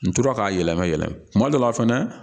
N tora k'a yɛlɛma yɛlɛma kuma dɔ la fɛnɛ